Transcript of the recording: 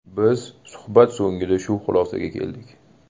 Biz suhbat so‘ngida shu xulosaga keldik.